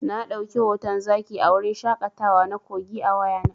Na ɗauki hoton zaki a wurin shaƙatawa na Kogi a wayana.